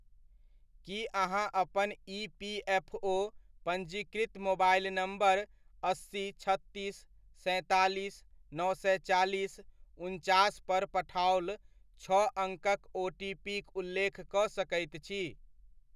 की अहाँ अपन इपीएफओ पञ्जीकृत मोबाइल नम्बर' अस्सी, छत्तीस, सैंतालीस, नओ सए चालीस, उनचास पर पठाओल छओ अङ्कक ओटीपीक उल्लेख कऽ सकैत छी ?